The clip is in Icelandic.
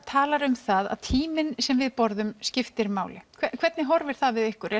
talar um það að tíminn sem við borðum skiptir máli hvernig horfir það við ykkur